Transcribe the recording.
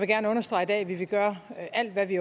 gerne understrege i dag at vi vil gøre alt hvad vi